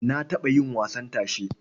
Na taɓa yin wasan tashe.